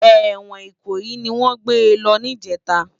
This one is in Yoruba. Èwòn Ikoyi niwòn gbé lò nijètá